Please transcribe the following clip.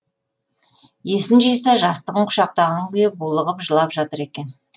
есін жиса жастығын құшақтаған күйі булығып жылап жатыр екен